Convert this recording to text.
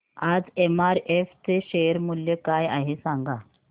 आज एमआरएफ चे शेअर मूल्य काय आहे सांगा